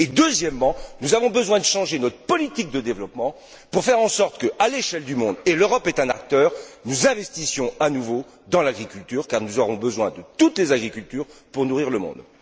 Deuxièmement, nous avons besoin de changer notre politique de développement pour faire en sorte qu'à l'échelle du monde et l'Europe est un acteur nous investissions à nouveau dans l'agriculture car nous aurons besoin de toutes les agricultures pour nourrir le monde.